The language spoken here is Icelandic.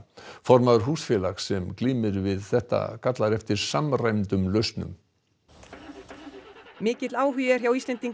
formaður húsfélags sem glímir við þetta kallar eftir samræmdum lausnum mikill áhugi er hjá Íslendingum